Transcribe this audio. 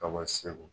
Ka bɔ segu